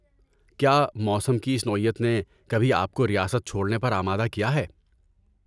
کیا موسم کی اس نوعیت نے کبھی آپ کو ریاست چھوڑنے پر آمادہ کیا ہے؟